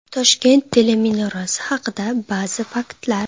Toshkent teleminorasi haqida ba’zi faktlar.